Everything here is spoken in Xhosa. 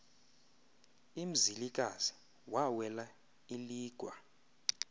umzilikazi wawela iligwa